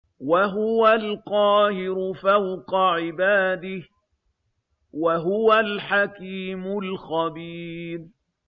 وَهُوَ الْقَاهِرُ فَوْقَ عِبَادِهِ ۚ وَهُوَ الْحَكِيمُ الْخَبِيرُ